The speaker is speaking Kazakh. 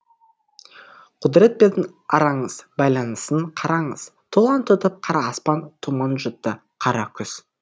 құдірет пен араңыз байланысын қараңыз тұлан тұтып қара аспан тұман жұтты қара күз